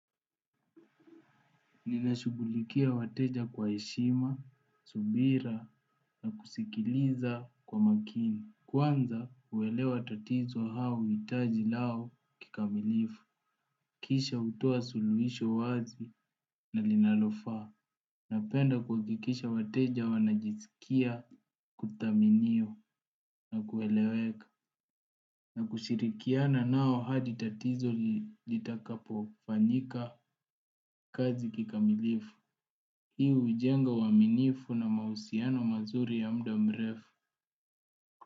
Ninashughulikia wateja kwa heshima, subira na kusikiliza kwa makini. Kwanza uelewa tatizo au hitaji lao kikamilifu. Kisha hutoa suluhisho wazi na linalofaa. Napenda kuhakikisha wateja wanajisikia kuthaminiwa na kueleweka. Na kushirikiana nao hadi tatizo litakapofanyika kazi kikamilifu. Hii hujenga uaminifu na mahusiano mazuri ya mda mrefu.